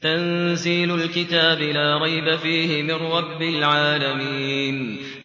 تَنزِيلُ الْكِتَابِ لَا رَيْبَ فِيهِ مِن رَّبِّ الْعَالَمِينَ